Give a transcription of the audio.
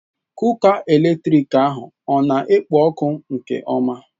Kuka eletrik ahụ ọ na-ekpo ọkụ nke ọma?